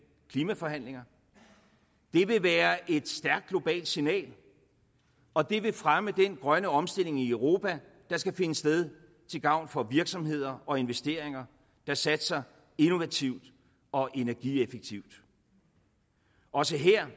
klimaforhandlinger det vil være et stærkt globalt signal og det vil fremme den grønne omstilling i europa der skal finde sted til gavn for virksomheder og investeringer der satser innovativt og energieffektivt også her